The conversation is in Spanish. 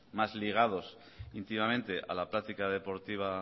más ligados íntimamente a la práctica deportiva